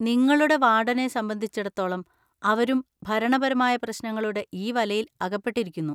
നിങ്ങളുടെ വാർഡനെ സംബന്ധിച്ചിടത്തോളം, അവരും ഭരണപരമായ പ്രശ്‌നങ്ങളുടെ ഈ വലയിൽ അകപ്പെട്ടിരിക്കുന്നു.